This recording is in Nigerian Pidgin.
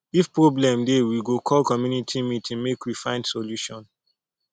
if problem dey we go call community meeting make we find solution